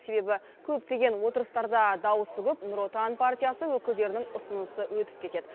себебі көптеген отырыстарда дауысы көп нұр отан партиясы өкілдерінің ұсынысы өтіп кетеді